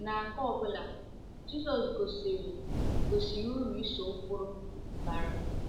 Na nke ọ bụla, Jizọs gosiri gosiri uru ịso ụkpụrụ bara.